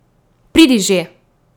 Pridi že!